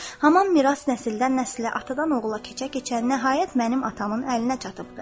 Haman miras nəsildən nəsilə, atadan oğula keçə-keçə nəhayət mənim atamın əlinə çatıbdı.